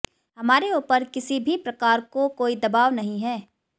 हमारे उपर किसी भी प्रकार को कोई दवाब नहीं है